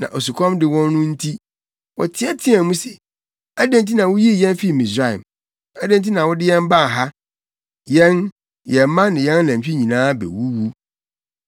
Na osukɔm a ɛde wɔn no nti, wɔteɛteɛɛ mu se, “Adɛn nti na wuyii yɛn fii Misraim? Adɛn nti na wode yɛn baa ha? Yɛn, yɛn mma ne yɛn anantwi nyinaa bewuwu!”